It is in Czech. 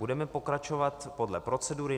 Budeme pokračovat podle procedury.